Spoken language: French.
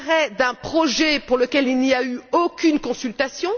l'arrêt d'un projet pour lequel il n'y a eu aucune consultation